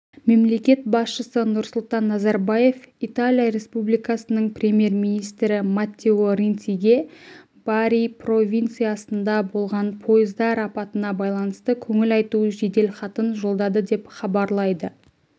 мемлекет басшысы нұрсұлтан назарбаев италия республикасының премьер-министрі маттео ренциге бари провинциясында болған пойыздар апатына байланысты көңіл айту жеделхатын жолдады деп хабарлайды